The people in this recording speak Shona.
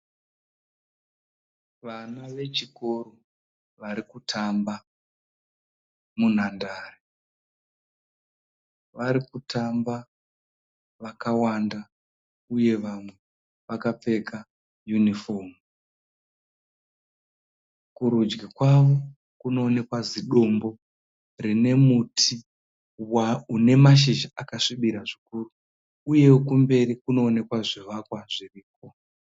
Vana vechikoro vari kutamba munhandare. Vari kutamba vakawanda uye vamwe vakapfeka yunifomu. Kurudyi kwavo kunoonekwa zidombo rine muti une mashizha akasvibira zvikuru, uye kumberi kunoonekwa zvivakwa zviriko.